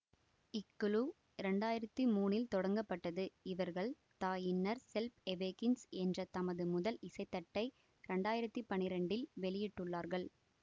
இக் குழு ரெண்டாயிரத்தி மூணில் தொடங்கப்பட்டது இவர்கள் த இன்னர் செல்ப் எவேக்கின்சு என்ற தமது முதல் இசைத்தட்டை ரெண்டாயிரத்தி பன்னிரெண்டில் வெளியிட்டுள்ளார்கள்